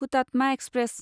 Hutatma express